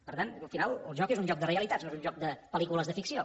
per tant al final el joc és un joc de realitats no és un joc de pel·lícules de ficció